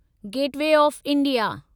gateway of India